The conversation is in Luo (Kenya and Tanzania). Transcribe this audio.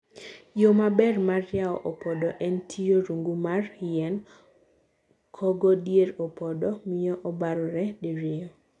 Yoo maber mar yawo opodo, en tiyo rungu mar yien, kogo dier opodo, miyo obarore diriyo.